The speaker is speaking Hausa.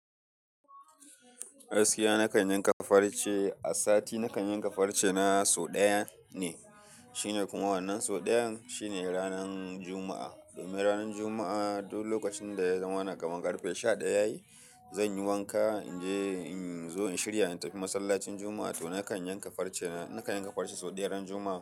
Gaskiya na kan yanka farce, a sati na kan yanka farce na sau ɗaya ne. Shine kuma wannan sau ɗayan shine ranan Juma'a. Domin ranan Juma'a duk lokacin da ya zamana kaman ƙarfe shaɗaya ya yi, zan yi wanka in je in zo in shirya in tafi masallacin Juma'a, to na kan yanka farce. Nakan yanka farce sau ɗaya ran Juma'a.